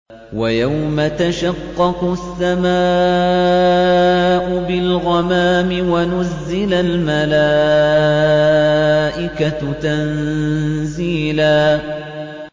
وَيَوْمَ تَشَقَّقُ السَّمَاءُ بِالْغَمَامِ وَنُزِّلَ الْمَلَائِكَةُ تَنزِيلًا